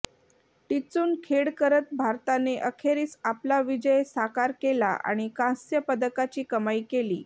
टिच्चून खेळ करत भारताने अखेरीस आपला विजय साकार केला आणि कांस्य पदकाची कमाई केली